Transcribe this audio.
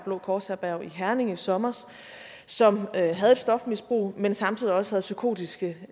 blå kors herberg i herning i sommer og som havde et stofmisbrug men samtidig også havde psykotiske